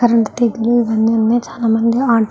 Current తీగలి ఇవన్నీ ఉన్నాయ. చాలామంది --